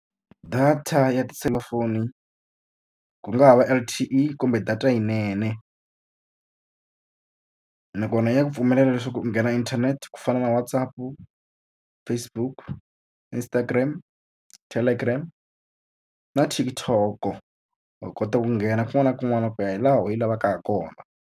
Data ya tiselulafoni ku nga ha va L_T_E kumbe data yinene nakona ya ku pfumelela leswaku u nghena inthanete ku fana na WhatsApp-u, Facebook, Instagram, Telegram na TikTok-o. Wa kota ku nghena kun'wana na kun'wana ku ya hi laha we i lavaka ha kona.